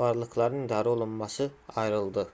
varlıqların i̇darəolunması ayrıldı